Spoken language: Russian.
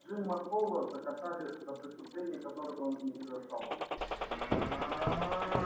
джима холла закатали за преступление которого он не совершал